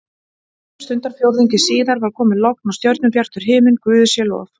Stundarfjórðungi síðar var komið logn og stjörnubjartur himinn, guði sé lof.